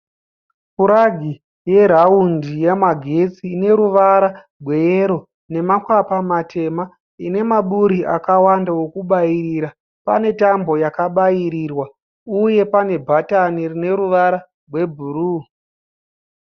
Puragi yeraundi yemagetsi ineruvara rweyero nemakwapa matema, ine maburi akawanda ekubayira. Pane tambo yakabayirirwa uye pane bhatani rine ruvara rwebhuruu.